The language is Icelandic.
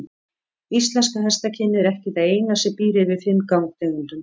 Íslenska hestakynið er ekki það eina sem býr yfir fimm gangtegundum.